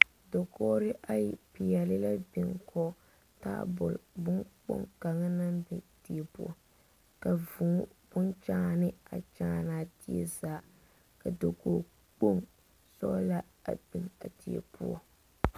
Dakogre ayi piɛle la a bin kɔ taabul bon kpong kanga na biŋ die poʊ. Ka vuu bon kyaane a kyaan a die zaa̵. Ka dakoge kpong bon sɔgla a biŋ a die poʊ